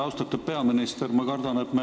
Austatud peaminister!